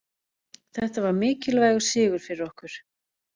Þetta var mikilvægur sigur fyrir okkur.